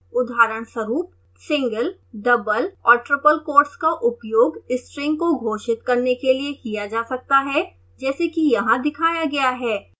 उदाहरणस्वरूप: